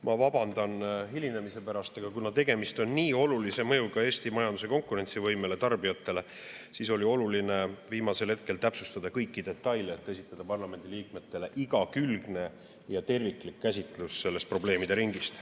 Ma vabandan hilinemise pärast, aga kuna tegemist on nii olulise mõjuga Eesti majanduse konkurentsivõimele ja tarbijatele, siis oli oluline viimasel hetkel täpsustada kõiki detaile, et esitada parlamendiliikmetele igakülgne ja terviklik käsitlus sellest probleemide ringist.